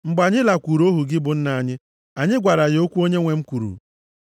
Mgbe anyị lakwuuru ohu gị bụ nna anyị, anyị gwara ya okwu onyenwe m kwuru.